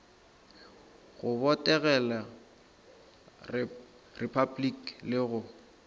go botegela repabliki le go